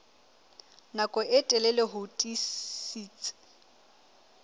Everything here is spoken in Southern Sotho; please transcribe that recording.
nako e telele ho tiisitse